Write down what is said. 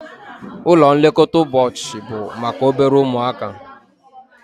Ụlọ nlekọta ụbọchị bụ maka obere ụmụaka